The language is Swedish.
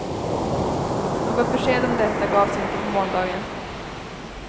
Något besked om detta gavs inte på måndagen.